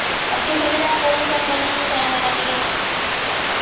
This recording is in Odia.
ଏତିକି ସୁବିଧା କରୁଛନ୍ତି ବୋଲି ଛୁଆ ମାନେ ଟିକେ